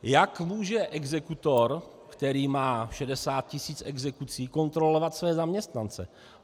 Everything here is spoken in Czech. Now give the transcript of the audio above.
Jak může exekutor, který má 60 tisíc exekucí, kontrolovat své zaměstnance?